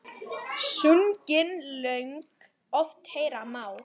Sungin lög oft heyra má.